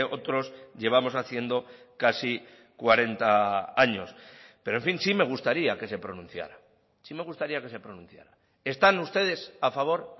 otros llevamos haciendo casi cuarenta años pero en fin sí me gustaría que se pronunciara sí me gustaría que se pronunciara están ustedes a favor